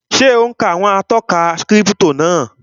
Ṣé ò ún ka àwọn ìtọ́ka kírípítò náà?